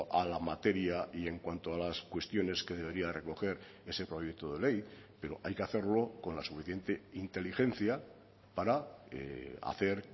a la materia y en cuanto a las cuestiones que debería de recoger ese proyecto de ley pero hay que hacerlo con la suficiente inteligencia para hacer